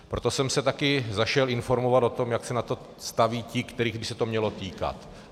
Proto jsem se také zašel informovat o tom, jak se k tomu staví ti, kterých by se to mělo týkat.